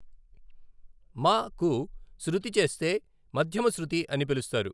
మ కు శృతి చేస్తే మధ్యమ శ్రుతి అని పిలుస్తారు.